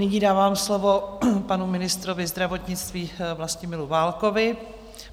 Nyní dávám slovo panu ministrovi zdravotnictví Vlastimilu Válkovi.